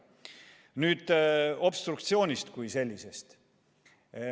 Nüüd obstruktsioonist kui sellisest.